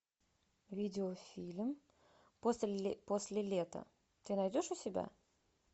видеофильм после лета ты найдешь у себя